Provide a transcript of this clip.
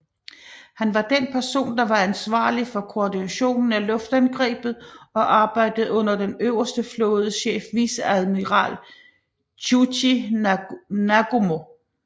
Han var den person der var ansvarlig for koordinationen af luftangrebet og arbejdede under den øverste flådechef viceadmiral Chuichi Nagumo